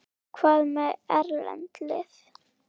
Hvað með erlend lið?